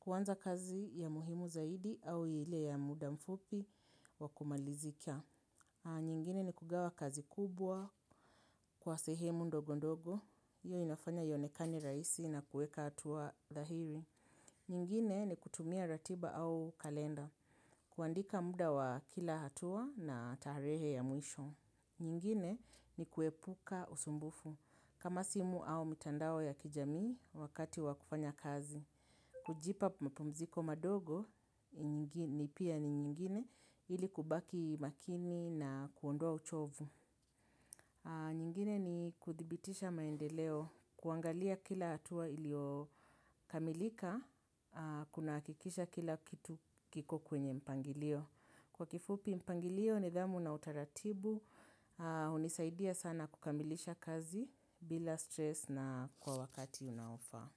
Kwanza kazi ya muhimu zaidi au ile ya muda mfupi wa kumalizikia. Nyingine ni kugawa kazi kubwa kwa sehemu ndogondogo. Iyo inafanya ionekane raisi na kueka atuwa dhahiri. Nyingine ni kutumia ratiba au kalenda. Kuandika muda wa kila hatua na tarehe ya mwisho. Nyingine ni kuepuka usumbufu. Kama simu au mitandao ya kijamii wakati wa kufanya kazi. Kujipa mpumziko madogo ni pia ni nyingine ili kubaki makini na kuondoa uchovu. Nyingine ni kuthibitisha maendeleo. Kuangalia kila hatua iliyokamilika kunahakikisha kila kitu kiko kwenye mpangilio. Kwa kifupi mpangilio nidhamu na utaratibu, unisaidia sana kukamilisha kazi bila stress na kwa wakati unaofa.